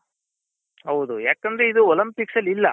ಹೌದು ಯಾಕಂದ್ರೆ ಇದು Olympics ಅಲ್ಲಿ ಇಲ್ಲ